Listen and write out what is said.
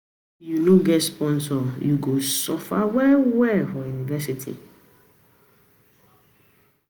If you no get sponsor, you go suffer well-well for university.